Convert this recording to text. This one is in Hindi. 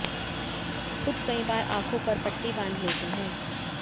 खुद कई बार आंखों पर पट्टी बांध लेते हैं